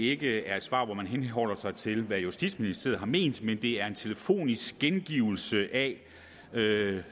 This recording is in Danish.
ikke er et svar hvor man henholder sig til hvad justitsministeriet har ment men det er en telefonisk gengivelse af